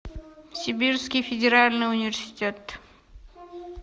сибирский федеральный университет